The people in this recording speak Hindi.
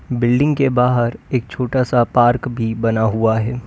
बिल्डिंग के बाहर एक छोटा सा पार्क भी बना हुआ है।